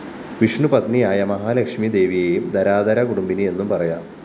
വിഷ്ണുപത്‌നിയായ മഹാലക്ഷ്മി ദേവിയെയും ധരാധരാകുടുംബിനി എന്നുപറയാം